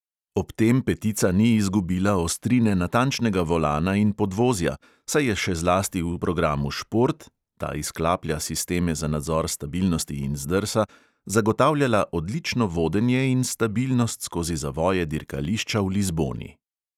Ob tem petica ni izgubila ostrine natančnega volana in podvozja, saj je še zlasti v programu šport (ta izklaplja sisteme za nadzor stabilnosti in zdrsa) zagotavljala odlično vodenje in stabilnost skozi zavoje dirkališča v lizboni.